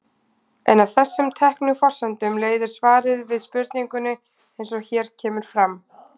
En af þessum teknu forsendum leiðir svarið við spurningunni eins og hér kemur fram.